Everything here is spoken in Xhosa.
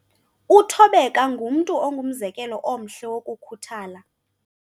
Uthobeka ngumntu ongumzekelo omhle wokukhuthala.